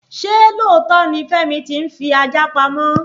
Ṣé lóòtó ni pe Femi ti ń fi ajá pamọ́?